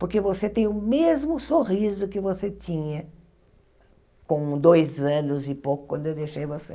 Porque você tem o mesmo sorriso que você tinha com dois anos e pouco, quando eu deixei você.